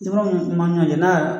Jamana min man